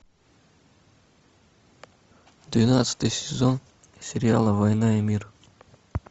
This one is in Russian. двенадцатый сезон сериала война и мир